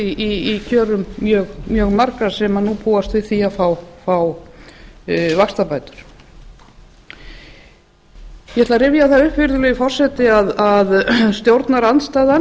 í kjörum mjög margra sem nú búast við því að fá vaxtabætur ég ætla að rifja það upp virðulegi forseti að stjórnarandstaðan